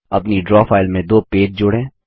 अपनी draw file में दो पेज जोड़ें